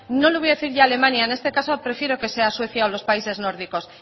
no le voy a decir ya alemania en este caso prefiero que sea suecia o los países nórdicos